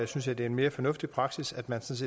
synes jeg det er en mere fornuftig praksis at man